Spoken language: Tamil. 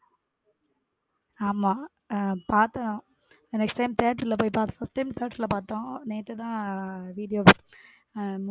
ஆமா, பாத்தோம் next time theater பொய் பாத்தோம் first time theater லா பாத்தோம் நேத்து தான் video.